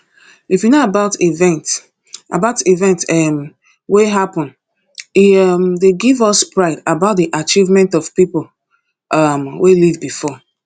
if we know about events about events um wey happen e um dey give us pride about di achievement of pipo um wey ilve before